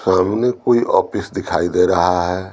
सामने कोई ऑफिस दिखाई दे रहा है।